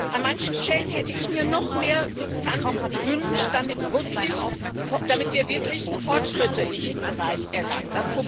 An manchen Stellen hätte ich mir noch mehr Substanz gewünscht, damit wir wirklich Fortschritte in diesem Bereich erlangen.